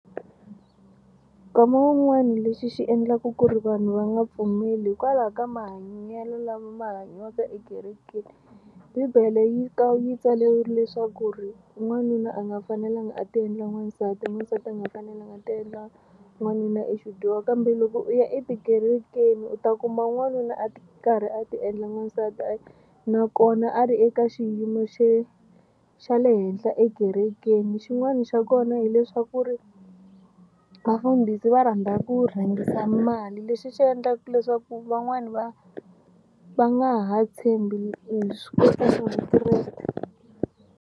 Nkama wun'wani lexi xi endlaku ku ri vanhu va nga pfumeli hikwalaho ka mahanyelo lama ma hanyiwaka ekerekeni. Bibele yi yi tsariwile leswaku ri n'wanuna a nga fanelanga a tiendla n'wansati n'wansati a nga fanelanga tiendla n'wanuna i xidyoho kambe loko u ya etikerekeni u ta kuma n'wanuna a karhi a ti endla n'wansati a nakona a ri eka xiyimo xe xa le henhla ekerekeni. Xin'wana xa kona hileswaku ri vafundhisi va rhandza ku rhangisa mali lexi xi endlaka leswaku van'wani va va nga ha tshembi vukreste.